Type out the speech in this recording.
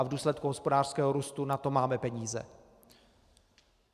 A v důsledku hospodářského růstu na to máme peníze.